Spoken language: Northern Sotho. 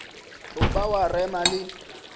tlo ba wa rema le